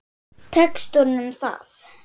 Tekst honum það?